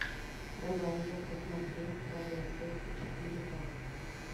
давай я посмотрю правила секса четыре ка